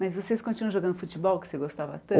Mas vocês continuam jogando futebol, que você gostava tanto?